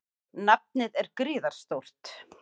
Nafnið er gríðarstórt.